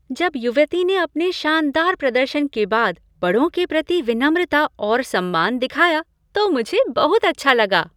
जब युवती ने अपने शानदार प्रदर्शन के बाद बड़ों के प्रति विनम्रता और सम्मान दिखाया तो मुझे बहुत अच्छा लगा।